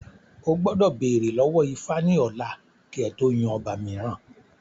O gbọ́dọ̀ bèrè lọ́wọ́ ifá ní ọ̀la kí ẹ tó yan ọba mìíràn